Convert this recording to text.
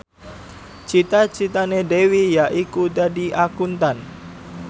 cita citane Dewi yaiku dadi Akuntan